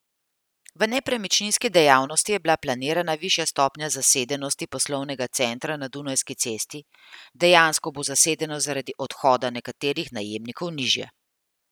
V nepremičninski dejavnosti je bila planirana višja stopnja zasedenosti poslovnega centra na Dunajski cesti, dejansko bo zasedenost zaradi odhoda nekaterih najemnikov nižja.